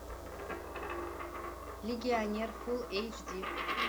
легионер фулл эйч ди